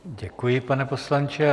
Děkuji, pane poslanče.